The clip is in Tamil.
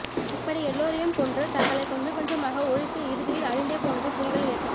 இப்படி எல்லோரையும் கொன்று தங்களை கொஞ்சம் கொஞ்சமாக ஒழித்து இறுதியில் அழிந்தே போனது புலிகள் இயக்கம்